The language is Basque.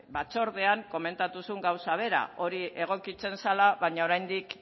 batzordean komentatu zuen gauza bera hori egokitzen zela baina oraindik